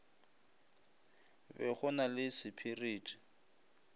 be go na le sepiriti